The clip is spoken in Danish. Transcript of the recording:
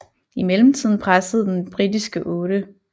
I mellemtiden pressede den britiske 8